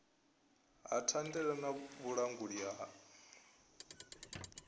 ha thandela na vhulanguli ha